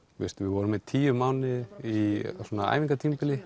við vorum í tíu mánuði í